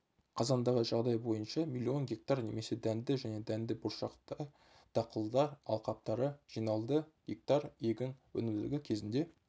қазандағы жағдай бойынша млн га немесе дәнді және дәнді-бұршақты дақылдар алқаптары жиналды га егін өнімділігі кезінде